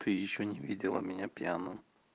ещё не видела меня пьяным